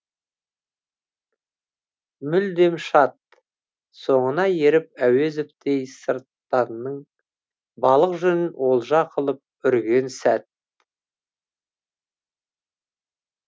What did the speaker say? мүлдем шат соңына еріп әуезовтей сырттанның балақ жүнін олжа қылып үрген сәт